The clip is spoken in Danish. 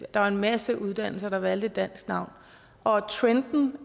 der var en masse uddannelser der valgte et dansk navn og trenden